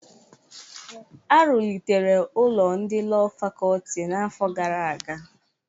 Arụlịtere ụlọ ndị Lọọ Fakọlti n'afọ gara aga.